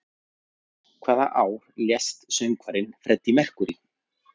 Hvaða ár lést söngvarinn Freddie Mercury?